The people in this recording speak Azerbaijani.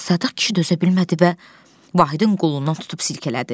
Sadiq kişi dözə bilmədi və Vahidin qolundan tutub silkələdi.